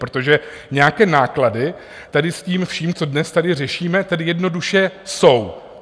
Protože nějaké náklady tady s tím vším, co tady dnes řešíme, tedy jednoduše jsou.